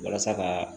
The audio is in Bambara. Walasa ka